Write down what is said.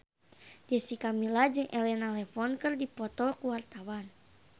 Jessica Milla jeung Elena Levon keur dipoto ku wartawan